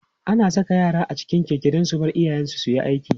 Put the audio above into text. ana Saka yara a cikin Keke Dan su Bar iyayen su suyi aiki